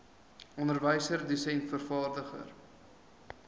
onderwyser dosent vervaardiger